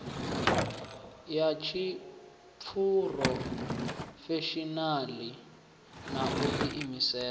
ya tshiphurofeshinala na u diimisela